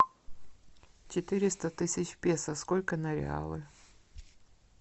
четыреста тысяч песо сколько на реалы